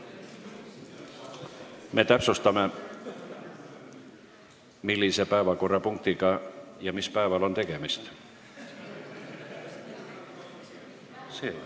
Me täpsustame, millise päeva millise päevakorrapunktiga on tegemist.